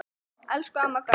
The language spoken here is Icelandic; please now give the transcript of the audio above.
Elsku Amma Gauja.